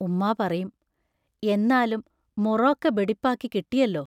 ഉമ്മാ പറയും: എന്നാലും മുറോക്കെ ബെടിപ്പാക്കി കിട്ടിയല്ലോ.